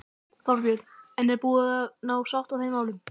Þorbjörn: En er búið að ná sátt í þeim málum?